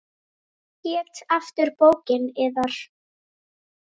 Hvað hét aftur bókin yðar?